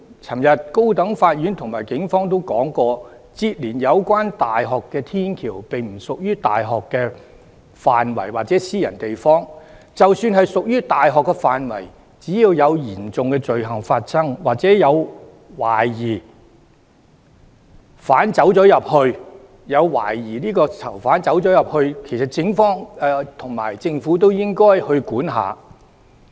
昨天高等法院和警方都說，連接有關大學的天橋並不屬於大學範圍或私人地方，即使屬於大學範圍，只要有嚴重罪行發生，或懷疑有疑犯進入，警方及政府都應該去管。